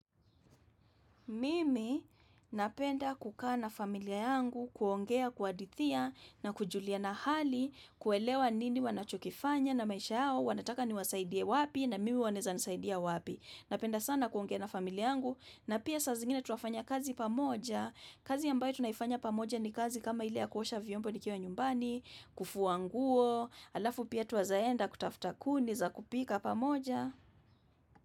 Mimi napenda kukaa na familia yangu kuongea kuhadithia na kujulia na hali kuelewa nini wanachokifanya na maisha hao wanataka niwasaidie wapi na mimi wanaeza nisaidia wapi. Napenda sana kuongea na familia yangu na pia saa zingine twafanya kazi pamoja. Kazi ambayo tunaifanya pamoja ni kazi kama ile ya kuosha vyombo nikiwa nyumbani, kufua nguo, halafu pia twaeza enda kutafuta kuni za kupika pamoja.